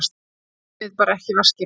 Gleymið bara ekki vaskinum!